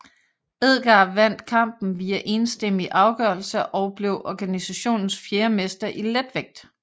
Edgar vandt kampen via enstemmig afgørelse og blev organisationens fjerde mester i letvægt